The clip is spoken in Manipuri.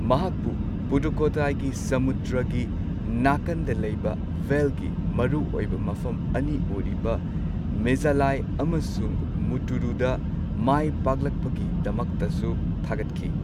ꯃꯍꯥꯛꯄꯨ ꯄꯨꯗꯨꯛꯀꯣꯠꯇꯥꯏꯒꯤ ꯁꯃꯨꯗ꯭ꯔꯒꯤ ꯅꯥꯀꯟꯗ ꯂꯩꯕ ꯚꯦꯜ ꯒꯤ ꯃꯔꯨ ꯑꯣꯏꯕ ꯃꯐꯝ ꯑꯅꯤ ꯑꯣꯏꯔꯤꯕ ꯃꯤꯓꯥꯂꯥꯏ ꯑꯃꯁꯨꯡ ꯃꯨꯠꯇꯨꯔꯨꯗ ꯃꯥꯏꯄꯥꯛꯂꯛꯄꯒꯤꯗꯃꯛꯇꯁꯨ ꯊꯥꯒꯠꯈꯤ꯫